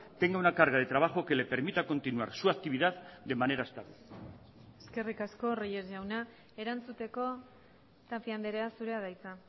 tenga una carga de trabajo que le permita continuar su actividad de manera estable eskerri asko reyes jauna erantzuteko tapia andrea zurea da hitza